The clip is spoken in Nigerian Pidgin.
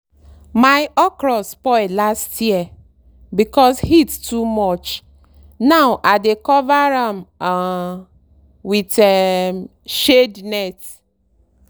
my okra spoil last year because heat too much now i dey cover am um with um shade net.